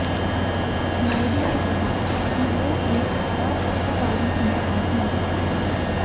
नायडू ने कहा कि वो एक अराजकतावादी इंसान हैं